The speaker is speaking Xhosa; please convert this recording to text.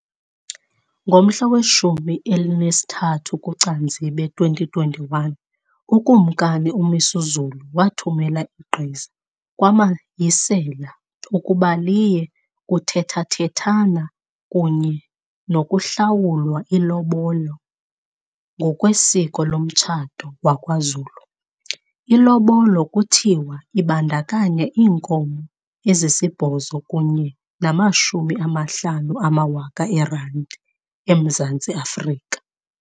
Ngomhla weshumi elinesithathu kuCanzibe 2021, uKumkani uMisuzulu wathumela igqiza kwaMayisela ukuba liye kuthethathethana kunye nokuhlawula ilobolo ngokwesiko lomtshato wakwaZulu. Ilobola kuthiwa ibandakanya iinkomo ezisibhozo kunye namashumi amahlanu amawaka eerandi eMzantsi Afrika.